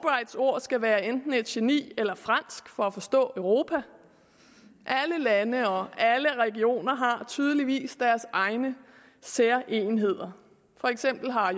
ord skal være enten et geni eller fransk for at forstå europa alle lande og alle regioner har tydeligvis hver sine særegenheder for eksempel har